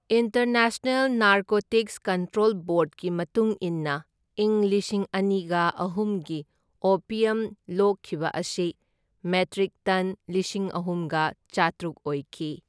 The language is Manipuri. ꯏꯟꯇꯔꯅꯦꯁꯅꯦꯜ ꯅꯥꯔꯀꯣꯇꯤꯛꯁ ꯀꯟꯇ꯭ꯔꯣꯜ ꯕꯣꯔꯗꯀꯤ ꯃꯇꯨꯡ ꯏꯟꯅ ꯢꯪ ꯂꯤꯁꯤꯡ ꯑꯅꯤꯒ ꯑꯍꯨꯝꯒꯤ ꯑꯣꯄ꯭ꯌꯝ ꯂꯣꯛꯈꯤꯕ ꯑꯁꯤ ꯃꯦꯇ꯭ꯔꯤꯛ ꯇꯟ ꯂꯤꯁꯤꯡ ꯑꯍꯨꯝꯒ ꯆꯥꯇ꯭ꯔꯨꯛ ꯑꯣꯏꯈꯤ꯫